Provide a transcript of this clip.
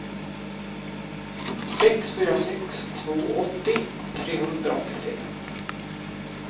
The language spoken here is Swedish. sex fyra sex två åttio trehundraåttiofem